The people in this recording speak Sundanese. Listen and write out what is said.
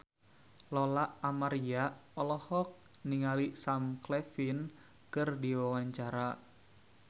Lola Amaria olohok ningali Sam Claflin keur diwawancara